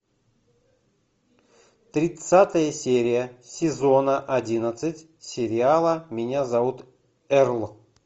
тридцатая серия сезона одиннадцать сериала меня зовут эрл